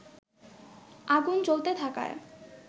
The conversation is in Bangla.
আগুন জ্বলতে থাকায়